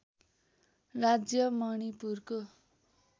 राज्य मणिपुरको